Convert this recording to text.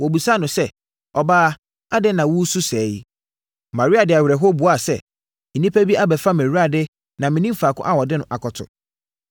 Wɔbisaa no sɛ, “Ɔbaa, adɛn na woresu sɛɛ yi?” Maria de awerɛhoɔ buaa sɛ, “Nnipa bi abɛfa mʼAwurade na mennim faako a wɔde no akɔto.”